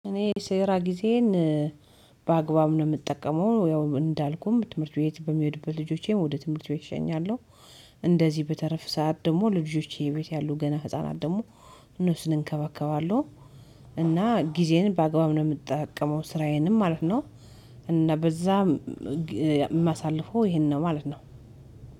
እኔ ስራ ጊዜዬን በአግባብ ነው የምጠቀመው ያው እንዳልኩም ትምህርት ቤት በሚሄዱብት ልጆቼም ወደ ትምህርት ቤት እሸኛለሁ። እንደዚህ በትርፍ ሰዓት ደግሞ ልጆቼ ቤት ያሉ ገና ህፃናት ደግሞ እነሱን እንከባከባለሁ። እና ጊዜዬን በአግባብ ነው የምጠቀመው ስራዬንም ማለት ነው። እና በዛም ማሳልፈው ይሄን ነው ማለት ነው።